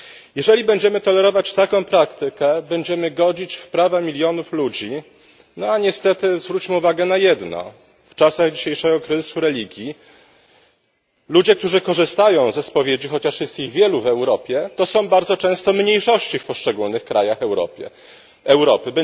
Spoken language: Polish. Jeżeli będziemy tolerować taką praktykę, będziemy godzić w prawa milionów ludzi, no a niestety zwróćmy uwagę na jedno w czasach dzisiejszego kryzysu religii ludzie, którzy korzystają ze spowiedzi, chociaż jest ich wielu w Europie, to są bardzo często mniejszości w poszczególnych krajach Europy.